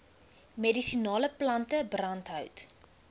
medisinale plante brandhout